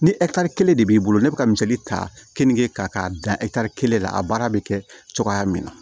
Ni kelen de b'i bolo ne bɛ ka misali ta keninke ta k'a bila kelen na a baara bɛ kɛ cogoya min na